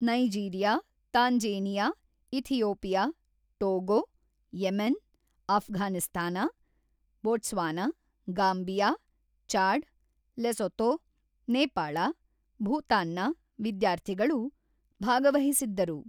Nigeria, Tanzania, Ethiopia, Togo, Yemen, Afghanistan, Botswana, Gambia, Chad, Lesotho, Nepal, ಭೂತಾನ್ನ ವಿದ್ಯಾರ್ಥಿಗಳು ಭಾಗವಹಿಸಿದ್ದರು.